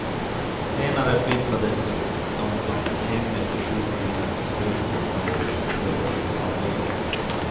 Senare flyttades de från hemmet till sjukhusens högteknologiska förlossningsavdelningar.